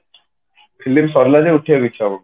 film ସାରିଲା ଯାଏ ଉଠିବା କୁ ଇଚ୍ଛା ହଉନି